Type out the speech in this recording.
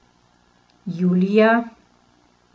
Julija.